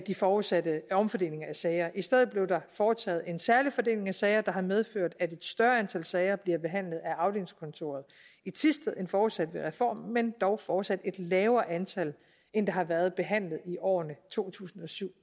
de forudsatte omfordelinger af sager i stedet blev der foretaget en særlig fordeling af sager der har medført at et større antal sager bliver behandlet af afdelingskontoret i thisted end forudsat ved reformen men dog fortsat et lavere antal end der har været behandlet i årene to tusind og syv